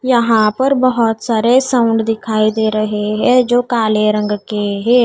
यहां पर बोहोत सारे साउंड दिखाई दे रहे हैं जो काले रंग के हैं।